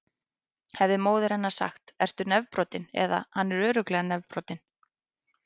Hefði móðir hennar sagt: Ertu nefbrotinn? eða: Hann er örugglega nefbrotinn.